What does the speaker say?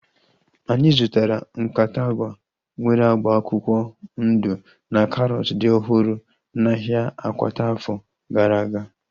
Anyị zụtara nkata agwa nwere agba akwụkwọ ndụ na karọt dị ọhụrụ n'ahia Akwata afọ gara aga